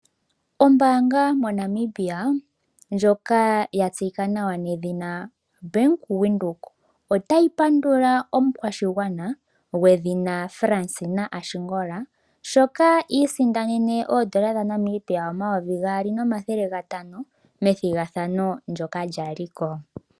Ombaanga moNamibia ndjoka ya tseyika nawa nedhina Bank Windhoek, otayi pandula omukwashigwana gwedhina Fansina Ashingola, sho i isindanene oondola dhaNamibia omayovi gaali nomathele gatano methigathano ndyoka lya li ko.